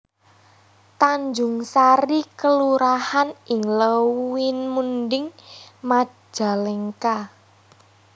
Tanjungsari kelurahan ing Leuwimunding Majalengka